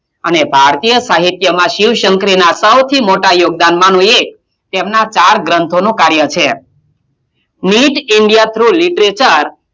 અને ભારતીય સાહિત્યમાં શિવ - શંકરીનાં સૌથી મોટાં યોગદાનમાનું એક તેમનાં ચાર ગ્રંથોનો કાર્ય છે neet india through literature